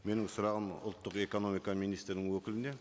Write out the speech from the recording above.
менің сұрағым ұлттық экономика министрінің өкіліне